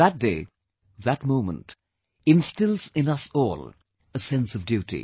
That day, that moment, instills in us all a sense of duty